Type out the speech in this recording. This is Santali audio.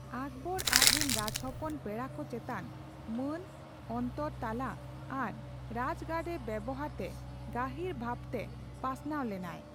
ᱟᱠᱵᱚᱨ ᱟᱪᱨᱮᱱ ᱨᱟᱡᱽᱦᱚᱯᱚᱱ ᱯᱮᱲᱟᱠᱚ ᱪᱮᱛᱟᱱ ᱢᱟᱹᱱ, ᱚᱱᱛᱚᱨ ᱛᱟᱞᱟ ᱟᱨ ᱨᱟᱡᱜᱟᱲᱨᱮ ᱵᱮᱣᱦᱟᱨᱛᱮ ᱜᱟᱹᱦᱤᱨ ᱵᱷᱟᱵᱛᱮ ᱯᱟᱥᱱᱟᱣ ᱞᱮᱱᱟᱭ ᱾